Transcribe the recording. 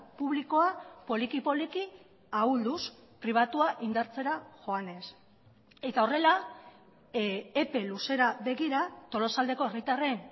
publikoa poliki poliki ahulduz pribatua indartzera joanez eta horrela epe luzera begira tolosaldeko herritarren